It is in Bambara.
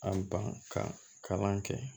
An ban ka kalan kɛ